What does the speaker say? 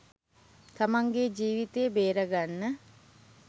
තමන්ගේ ජීවිතය බේරගන්න